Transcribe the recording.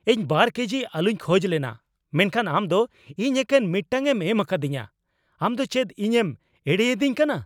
ᱤᱧ ᱒ ᱠᱮᱡᱤ ᱟᱹᱞᱩᱧ ᱠᱷᱚᱡ ᱞᱮᱱᱟ ᱢᱮᱱᱠᱷᱟᱱ ᱟᱢ ᱫᱚ ᱤᱧ ᱮᱠᱮᱱ ᱢᱤᱫᱴᱟᱝᱧᱮᱢ ᱮᱢᱟᱠᱟᱫᱤᱧᱟ ! ᱟᱢ ᱫᱚ ᱪᱮᱫ ᱤᱧᱮᱢ ᱮᱲᱮᱭᱤᱫᱤᱧ ᱠᱟᱱᱟ ?